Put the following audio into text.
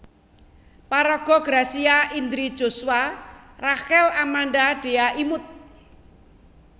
Paraga Gracia Indri Joshua Rachel Amanda Dhea Imut